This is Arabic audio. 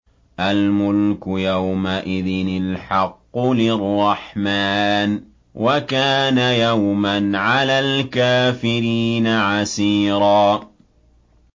الْمُلْكُ يَوْمَئِذٍ الْحَقُّ لِلرَّحْمَٰنِ ۚ وَكَانَ يَوْمًا عَلَى الْكَافِرِينَ عَسِيرًا